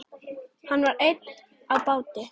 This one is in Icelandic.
Hann var einn á báti.